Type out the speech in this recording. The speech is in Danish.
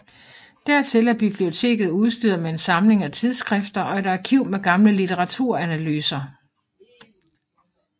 Dertil er biblioteket udstyret med en samling af tidsskrifter og et arkiv med gamle litteraturanalyser